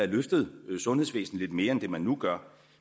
løftet sundhedsvæsenet lidt mere end det man nu gør